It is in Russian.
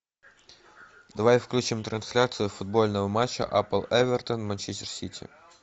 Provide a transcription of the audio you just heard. давай включим трансляцию футбольного матча апл эвертон манчестер сити